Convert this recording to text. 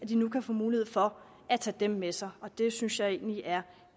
de nu få mulighed for at tage dem med sig det synes jeg egentlig er